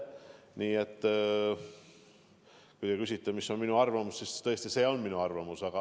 Nii et kui te küsite, mis on minu arvamus, siis tõesti see on minu arvamus.